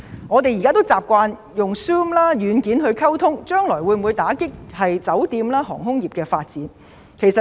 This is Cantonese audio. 我們現在習慣用 Zoom 軟件溝通，將來會否因此打擊酒店或航空業的發展？